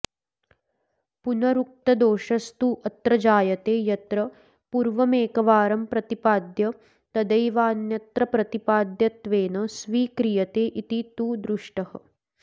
पुनरुक्तदोषस्तु अत्र जायते यत्र पूर्वमेकवारं प्रतिपाद्य तदैवान्यत्र प्रतिपाद्यत्वेन स्वीक्रियते इति तु दृष्टः